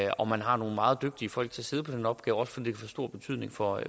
og man har nogle meget dygtige folk til at sidde på den opgave også fordi få stor betydning for